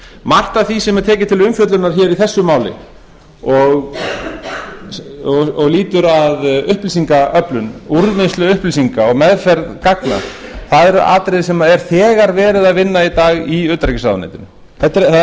margt af því sem er tekið til umfjöllunar hér í þessu máli og lýtur að upplýsingaöflun úrvinnslu upplýsinga og meðferð gagna eru atriði sem er þegar verið að vinna í dag í utanríkisráðuneytinu það